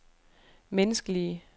menneskelige